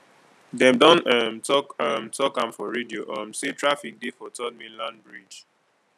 dem don um tok um tok am for radio um sey traffic dey for third mainland bridge